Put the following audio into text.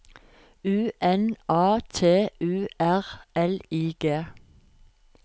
U N A T U R L I G